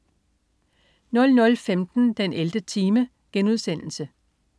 00.15 den 11. time*